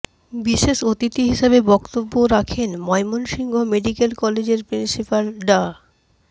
বিশেষ অতিথি হিসেবে বক্তব্য রাখেন ময়মনসিংহ মেডিক্যাল কলেজের প্রিন্সিপাল ডা